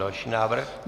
Další návrh.